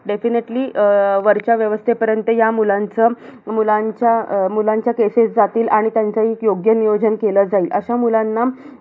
Definitely वरच्या व्यवस्थेपर्यंत या मुलाचं, मुलांच्या~ मुलांच्या cases जातील आणि त्याचं एक योग्य नियोजन केलं जाईल. अशा मुलांना